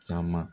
Caman